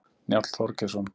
Njáll Þorgeirsson.